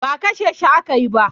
Ba kashe shi aka yi ba.